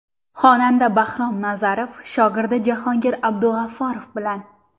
Xonanda Bahrom Nazarov shogirdi Jahongir Abdug‘ofurov bilan.